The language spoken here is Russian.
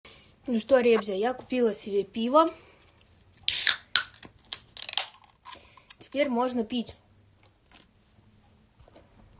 ну что ребзя я купила себе пива теперь можно пить